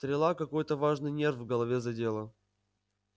стрела какой-то важный нерв в голове задела